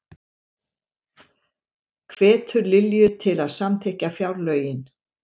Hvetur Lilju til að samþykkja fjárlögin